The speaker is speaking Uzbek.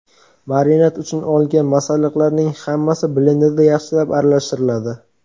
Marinad uchun olingan masalliqlarning hammasi blenderda yaxshilab aralashtiriladi.